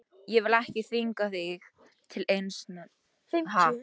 Ég vil ekki þvinga þig til eins né neins.